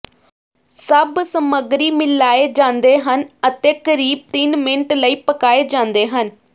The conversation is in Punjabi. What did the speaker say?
ਸਭ ਸਮੱਗਰੀ ਮਿਲਾਏ ਜਾਂਦੇ ਹਨ ਅਤੇ ਕਰੀਬ ਤਿੰਨ ਮਿੰਟ ਲਈ ਪਕਾਏ ਜਾਂਦੇ ਹਨ